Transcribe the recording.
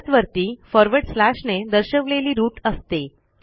सगळ्यात वरती फॉरवर्ड स्लॅशने दर्शवलेली रूट असते